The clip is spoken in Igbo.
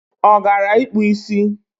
O gara ikpu isi?